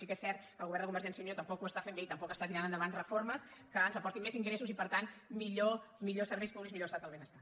sí que és cert que el govern de convergència i unió tampoc ho està fent bé i tampoc està tirant endavant reformes que ens aportin més ingressos i per tant millors serveis públics millor estat del benestar